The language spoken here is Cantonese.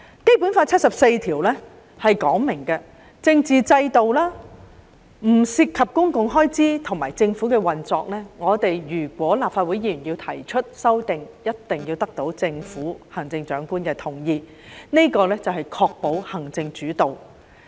《基本法》第七十四條訂明，立法會議員提出的法律草案不得涉及政治制度、公共開支或政府運作，否則必須得到行政長官的同意，這是要確保行政主導。